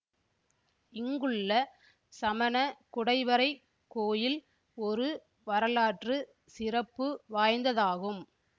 இங்குள்ள சமண குடைவரைக் கோயில் ஒரு வரலாற்று சிறப்பு வாய்ந்ததாகும்